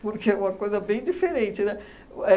Porque é uma coisa bem diferente, né? O